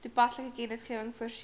toepaslike kennisgewings voorsien